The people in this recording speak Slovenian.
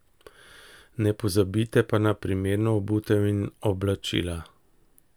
Ne pozabite pa na primerno obutev in oblačila.